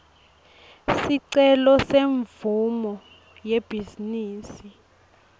sicelo semvumo yebhizinisi